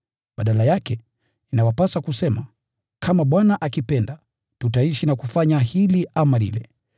Badala yake, inawapasa kusema, “Kama Bwana akipenda, tutaishi na kufanya hili ama lile.”